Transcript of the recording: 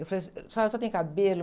Eu falei, a senhora só tem cabelo.